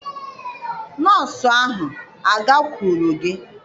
Nọọsụ ahụ agakwuru gị?